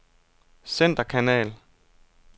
centerkanal